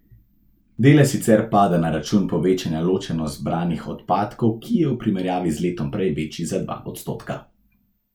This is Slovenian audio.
Delež sicer pada na račun povečanja ločeno zbranih odpadkov, ki je v primerjavi z letom prej večji za dva odstotka.